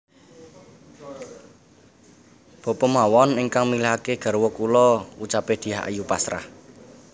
Bapa mawon ingkang milihake garwa kula ucape Dyah Ayu pasrah